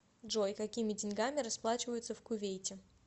джой какими деньгами расплачиваются в кувейте